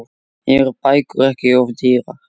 Eru bækur ekki of dýrar?